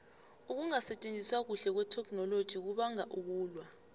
ukungasitjenziswa kuhle kwetheknoloji kubanga ukulwa